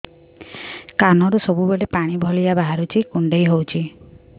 କାନରୁ ସବୁବେଳେ ପାଣି ଭଳିଆ ବାହାରୁଚି କୁଣ୍ଡେଇ ହଉଚି